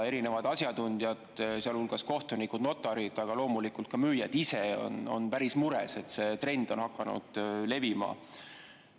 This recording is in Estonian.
Erinevad asjatundjad, sealhulgas kohtunikud, notarid, aga loomulikult ka müüjad ise on päris mures, et see trend on hakanud levima.